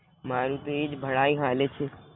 મારુ તો ઇજ ભડાઇ હાલે છે